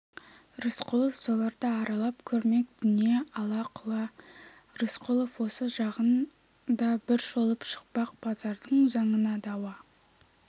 рысқұлов соларды аралап көрмек дүние ала-құла рысқұлов осы жағын да бір шолып шықпақ базардың заңына дауа